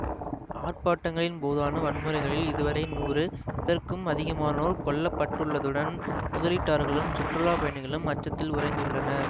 ஆர்ப்பாட்டங்களின் போதான வன்முறைகளில் இதுவரை நூறு இதற்கும் அதிகமானோர் கொல்லப்பட்டுள்ளதுடன் முதலீட்டாளர்களும் சுற்றுலா பயணிகளும் அச்சத்தில் உறைந்துள்ளனர்